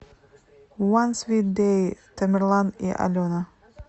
уан свит дэй тамерлан и алена